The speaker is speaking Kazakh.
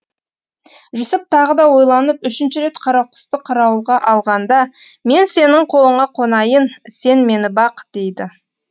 жүсіп тағы да ойланып үшінші рет қарақұсты қарауылға алғанда мен сенің қолыңа қонайын сен мені бақ дейді